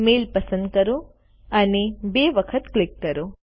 mail પસંદ કરો અને બે વખત ક્લિક કરો